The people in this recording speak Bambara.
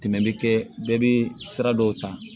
Tɛmɛ bɛ kɛ bɛɛ bɛ sira dɔw ta